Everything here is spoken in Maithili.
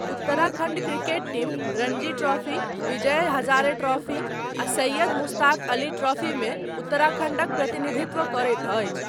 Uttarakhand cricket team Ranji trophy, Vijay Hazare trophy आ सैयद मुश्ताक अली ट्रॉफी मे उत्तराखण्डक प्रतिनिधित्व करैत अछि।